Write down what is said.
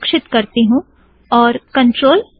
सुरक्षित करती हूँ और CTRL F7